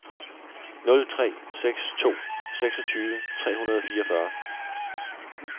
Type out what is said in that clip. nul tre seks to seksogtyve tre hundrede og fireogfyrre